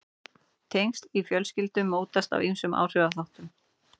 tengsl í fjölskyldum mótast af ýmsum áhrifaþáttum